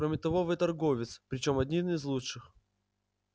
кроме того вы торговец причём один из лучших